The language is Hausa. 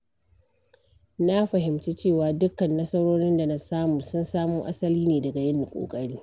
Na fahimci cewa dukan nasarorin da na samu sun samo asali ne daga yin ƙoƙari.